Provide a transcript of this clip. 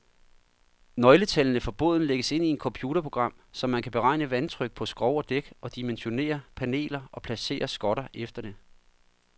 Nøgletallene for båden lægges ind i et computerprogram, så man kan beregne vandtryk på skrog og dæk, og dimensionere paneler og placere skotter efter det.